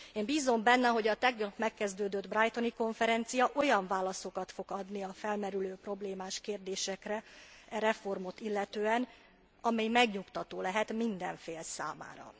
Én bízom benne, hogy a tegnap megkezdődött brightoni konferencia olyan válaszokat fog adni a felmerülő problémás kérdésekre e reformot illetően, ami megnyugtató lehet minden fél számára.